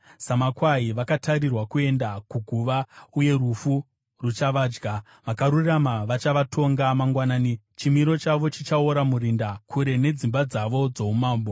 Samakwai vakatarirwa kuenda kuguva, uye rufu ruchavadya. Vakarurama vachavatonga mangwanani; chimiro chavo chichaora murinda, kure nedzimba dzavo dzoumambo.